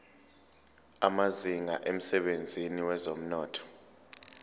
amazinga emsebenzini wezomnotho